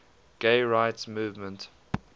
gay rights movement